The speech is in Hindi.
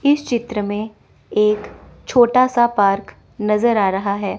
इस चित्र में एक छोटा सा पार्क नजर आ रहा है।